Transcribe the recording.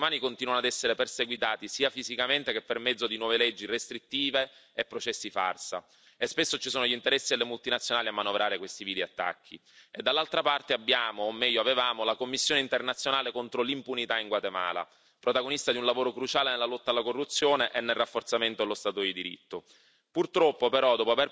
Da una parte i difensori dei diritti umani continuano ad essere perseguitati, sia fisicamente che per mezzo di nuove leggi restrittive e processi farsa, e spesso ci sono gli interessi delle multinazionali a manovrare questi vili attacchi, e dall'altra parte abbiamo o meglio, avevamo la commissione internazionale contro l'impunità in Guatemala, protagonista di un lavoro cruciale nella lotta alla corruzione e nel rafforzamento dello Stato di diritto.